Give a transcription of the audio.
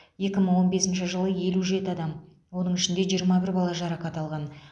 екі мың он бесінші жылы елу жеті адам оның ішінде жиырма бір бала жарақат алған